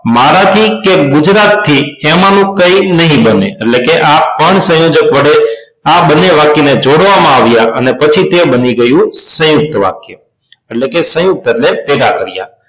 મારાથી કે ગુજરાત થી એમાનું કહી નહીં બને એટલે કે આ પણ સંયોજક વડે આ બંને વાક્ય ને જોડવામાં આવ્યા અને પછી તે બની ગયું સંયુક્ત વાક્ય એટલે કે સયુંકત એટલે ભેગા કર્યા